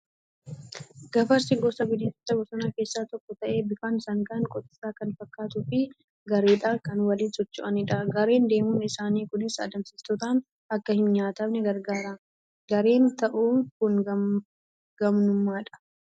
Gafarsi gosa bineensota bosonaa keessaa tokko ta'ee bifaan sangaan qotiisaa kan fakkaatuu fi gareedhaan kan waliin socho'anidha. Gareen deemuun isaanii Kunis adamsitootaan Akka hin nyaatamne gargaara. Gareen ta'uu Kun gamnummaadha.